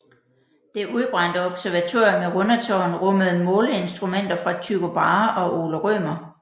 Det udbrændte observatorium i Rundetårn rummede måleinstrumenter fra Tycho Brahe og Ole Rømer